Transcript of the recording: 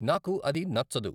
నాకు అది నచ్చదు